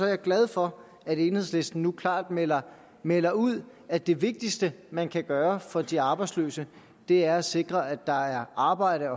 jeg glad for at enhedslisten nu klart melder melder ud at det vigtigste man kan gøre for de arbejdsløse er at sikre at der er arbejde